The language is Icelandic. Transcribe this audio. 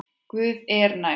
Guð er nær.